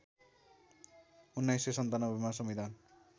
१९९७ मा संविधान